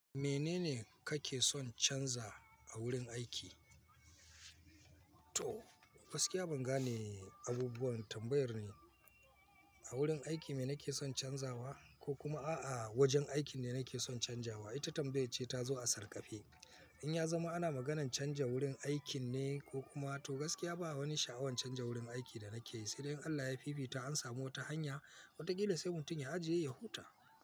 Menene kake son canza a wurin aiki? To, gaskiya ban gane abubuwan tambayar ne. A wurin aiki me nake son canzawa ko kuma a'a wajen aikin ne nake son canzawa? Ita tambayar ce ta zo a sarƙafe. In ya zama ana maganan canza wurin aikin ne ko kuma to gaskiya ba wani sha'awan canza wurin aiki da nake yi, sai dai in Allah ya fi bi ta an samu wata hanya, wataƙila sai mutum ya ajiye ya huta.